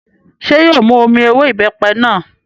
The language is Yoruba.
Ṣé yóò mu omi ewé ìbẹ́pẹ náà?